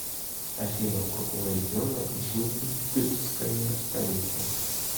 афина у какого региона джубгская столица